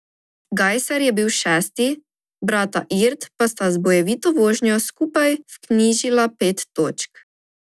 Gajser je bil šesti, brata Irt pa sta z bojevito vožnjo skupaj vknjižila pet točk.